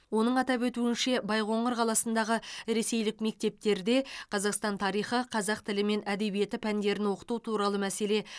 оның атап өтуінше байқоңыр қаласындағы ресейлік мектептерде қазақстан тарихы қазақ тілі мен әдебиеті пәндерін оқыту туралы мәселе